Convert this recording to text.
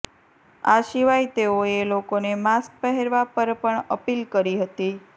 આ સિવાય તેઓએ લોકોને માસ્ક પહેરવા પણ અપીલ કરી હતી